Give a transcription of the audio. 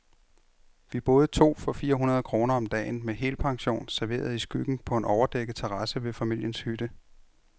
Vi boede to for fire hundrede kroner om dagen, med helpension, serveret i skyggen på en overdækket terrasse ved familiens hytte.